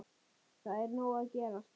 Það er nóg að gerast.